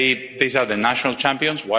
These are the national champions.